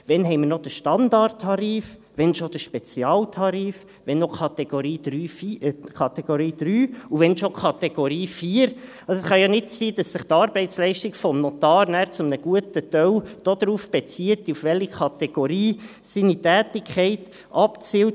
Wann haben wir noch den Standardtarif, wann schon den Spezialtarif, wann noch Kategorie 3 und wann schon Kategorie 4? – Es kann ja nicht sein, dass sich die Arbeitsleistung des Notars nachher zu einem guten Teil darauf beziehen würde, auf welche Kategorie seine Tätigkeit abzielt.